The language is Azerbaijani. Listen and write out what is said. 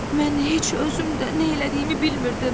Mən heç özümdə nə elədiyimi bilmirdim.